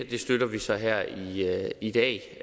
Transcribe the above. det støtter vi så her i dag